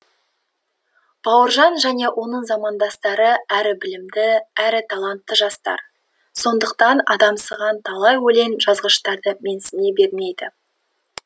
бауыржан және оның замандастары әрі білімді әрі талантты жастар сондықтан адамсыған талай өлең жазғыштарды менсіне бермейді